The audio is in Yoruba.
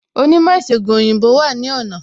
Onímò ìsègùn òyìnbó wà ní ọ̀nà